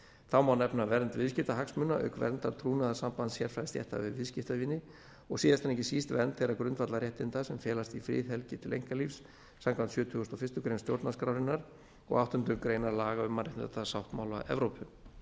þá má nefna vernd viðskiptahagsmuna auk verndar trúnaðarsambands sérfræðistétta við viðskiptavini og síðast en ekki síst vernd þeirra grundvallarréttinda sem felast í friðhelgi til einkalífs samkvæmt sjötugasta og fyrstu grein stjórnarskrárinnar og áttundu grein laga um mannréttindasáttmála evrópu